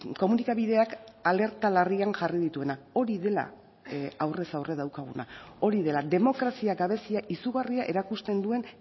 komunikabideak alerta larrian jarri dituena hori dela aurrez aurre daukaguna hori dela demokrazia gabezia izugarria erakusten duen